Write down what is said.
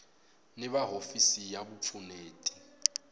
ni va hofisi ya vupfuneti